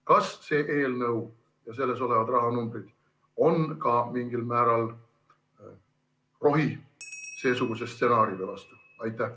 Kas see eelnõu ja selles olevad rahanumbrid on ka mingil määral rohi seesuguse stsenaariumi vastu?